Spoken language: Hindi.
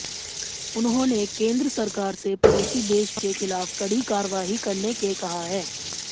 उन्होंने केन्द्र सरकार से पड़ोसी देश के खिलाफ कड़ी कार्रवाई करने के कहा है